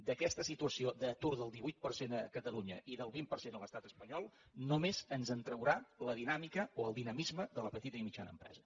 d’aquesta situació d’atur del divuit per cent a catalunya i del vint per cent a l’estat espanyol només ens en traurà la dinàmica o el dinamisme de la petita i mitjana empresa